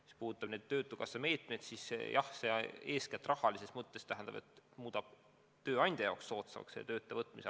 Mis puudutab neid töötukassa meetmeid, siis jah, rahalises mõttes muudab see olukorra soodamaks tööandjale.